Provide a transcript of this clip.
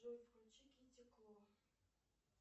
джой включи китти кло